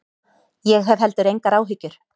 Ég hef heldur engar áhyggjur.